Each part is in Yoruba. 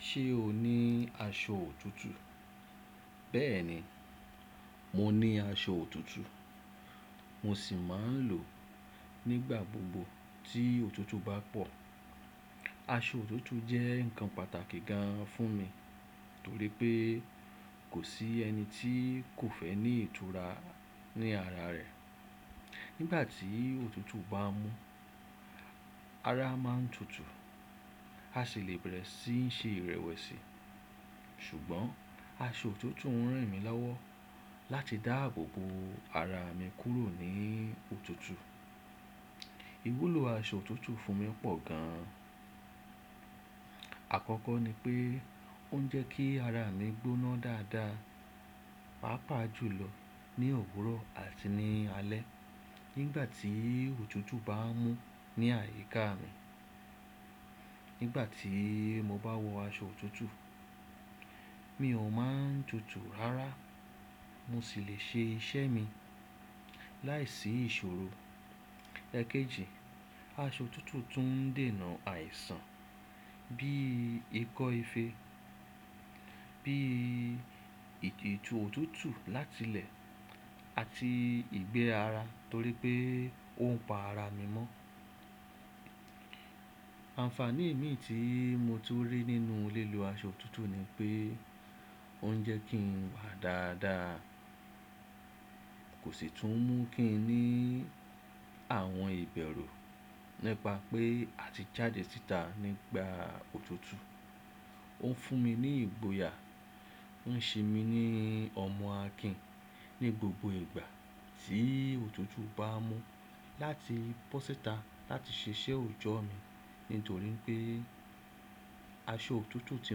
Ṣé o ní aṣọ òtútù? Bẹ́ẹ̀ni, mo ní aṣọ òtútù, mo sì máa ń lò ó nígbà gbogbo tí òtútù bá pọ̀. Aṣọ òtútù jẹ́ nǹkan pàtàkì gan an fún mi nítorí pé kò sí ẹni tí kò fẹ́ ní ìtura ní ara rẹ̀. Nígbà tí òtútù bá mú, ara máa ń tutù, a sì lè bẹ̀rẹ̀ sí ń ṣe ìrẹ̀wẹ̀sì. Ṣùgbọ́n aṣọ òtútù ń ràn mí láwọ́ láti dá àbò bo ara mi kúrò ní òtútù. Iwúlò aṣọ òtútù fún mi pọ̀ gan an. Àkọ́kọ́ ni pé ó ń jẹ́ kí ara mi gbóná dáadáa, pàápàá jùlọ ní òwúrọ̀ àti ní alẹ́ nígbà tí òtútù bá ń mú ní àyíká mi. Nígbà tí mo bá wọ aṣọ òtútù, mi ò máa ń tutù rárá, mo sì lè ṣe iṣẹ́ mi láìsí ìṣòro. Ẹ̀kejì, aṣọ òtútù tún ń dèna àìsàn bí ikọ́ ife, bí ìtìjú òtútù láti ilẹ̀ àti ìgbẹ́ ara torí pé ó ń pa ara mi mọ́. Ànfàní mì tí mo ti rí nínú lílo aṣọ òtútù ni pé ó ń jẹ́ kí n wà dáadáa, kò sì tún mú kí n ní àwọn ìbẹ̀rù nípa pé a ti jáde síta nípa òtútù. Ó ń fún mi ní ìgboyà, ó ń ṣe mí ní ọmọ akìn ní gbogbo ìgbà tí òtútù bá mú láti bọ́ síta láti ṣẹṣẹ́ ọjọ́ mi nítorí pé aṣọ òtútù tí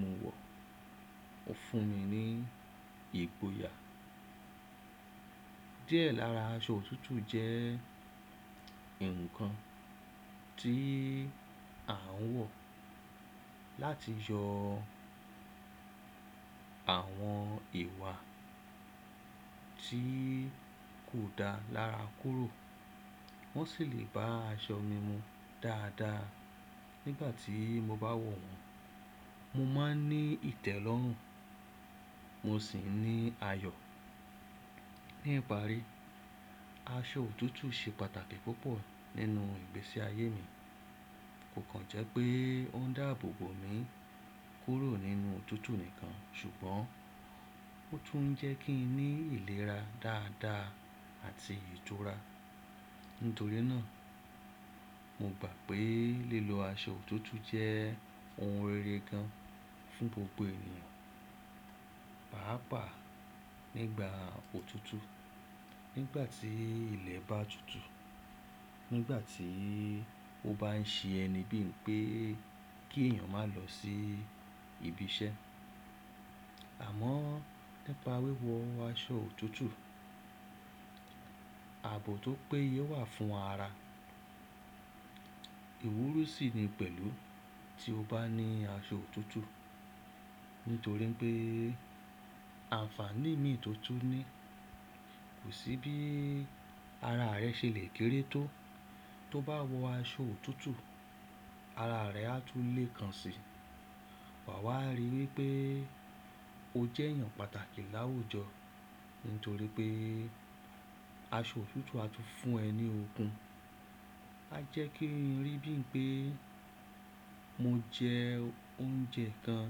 mo wọ̀ ó fún mi ní ìgboyà. Díẹ̀ lára aṣọ òtútù jẹ́ nǹkan tí à ń wọ̀ láti yọ àwọn ìwà tí kò dá lára kúrò. Wọn sì lè bá aṣọ mi mu dáadáa. Nígbà tí mo bá wọ̀ wọ́n, mo máa ń ní ìtẹ́lọ́rùn, mo sì ń ní ayọ̀. Ní ìparí, aṣọ òtútù ṣe pàtàkì púpọ̀ nínú ìgbésí ayé mi. Kò kan jẹ́ pé ó ń dá àbò bo mi kúrò nínú òtútù nìkan ṣùgbọ́n ó tún ń jẹ́ kí n ní ìlera dáadáa àti ìtura. Nítorí náà, mo gbà pé lílo aṣọ òtútù jẹ́ ohun rere gan an fún gbogbo ènìyàn, pàápàá nígbà òtútù. Nígbà tí ilẹ̀ bá tutù, nígbà tí ó bá ń ṣe ẹni bí i pé kí èèyàn máa lọ sí ibi iṣẹ́. Àmọ́ nípa wíwọ aṣọ òtútù, ààbò tó péye wà fún ara. Iwúru sì ni pẹ̀lú tí o bá ní aṣọ òtútù. Nítorí pé ànfàní mì tó tú ni. Kò sí bí ara rẹ ṣe lè kéré tó. Tó bá wọ aṣọ òtútù, ara rẹ á tú lé kan si. Wà á ríi wí pé o jẹ́ èèyàn pàtàkì láwùjọ nítorí pé aṣọ òtútù á tún fún ẹ ní okun. A jẹ́ kí n rí bí i pé mo jẹ oúnjẹ kan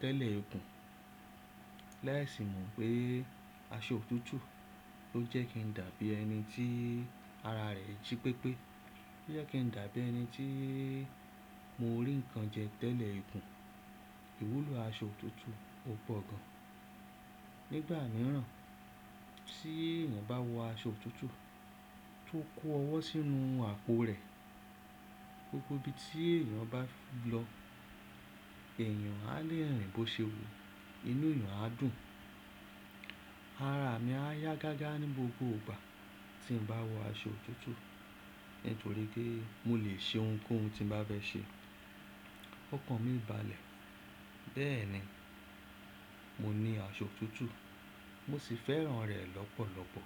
tẹ́lẹ̀ ikún. Laisì mo pé aṣọ òtútù ló jẹ́ kí n dàbí ẹni tí ara rẹ jí pépé. Ó jẹ́ kí n dàbí ẹni tí mo rí nǹkan jẹ tẹ́lẹ̀ ikún. Iwúlò aṣọ òtútù ò pọ̀ gan an. Nígbà mìíràn tí èèyàn bá wọ aṣọ òtútù tó kó ọwọ́ sínú àpò rẹ̀, gbogbo ibi tí èèyàn bá lọ, èèyàn á lè rìn bó ṣe wò, inú èèyàn á dùn. Ara mi á yá gágá ní gbogbo ìgbà tí n bá wọ aṣọ òtútù nítorí pé mo lè ṣe ohunkóhun tí n bá fẹ́ ṣe. Ó kan mi ìbàlẹ̀. Bẹ́ẹ̀ni, mo ní aṣọ òtútù, mo sì fẹ́ràn rẹ̀ lọ́pọ̀lọ́pọ̀.